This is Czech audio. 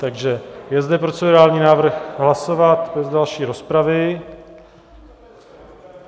Takže je zde procedurální návrh hlasovat bez další rozpravy.